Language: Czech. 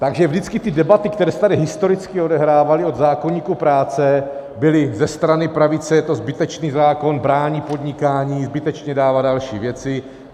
Takže vždycky ty debaty, které se tady historicky odehrávaly od zákoníku práce, byly ze strany pravice - je to zbytečný zákon, brání podnikání, zbytečně dává další věci.